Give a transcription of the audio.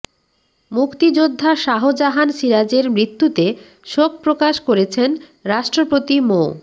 মুক্তিযোদ্ধা শাহজাহান সিরাজের মৃত্যুতে শোক প্রকাশ করেছেন রাষ্ট্রপতি মো